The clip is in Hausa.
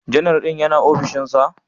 Janar din yana ofishinsa?